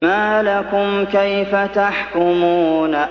مَا لَكُمْ كَيْفَ تَحْكُمُونَ